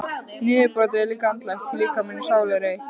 Niðurbrotið er líka andlegt því líkami og sál eru eitt.